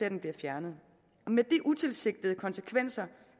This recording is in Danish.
at den bliver fjernet med de utilsigtede konsekvenser